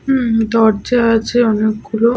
হুম দরজা আছে অনেক গুলো ।